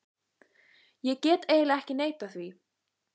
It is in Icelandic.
Ég get eiginlega ekki neitað því.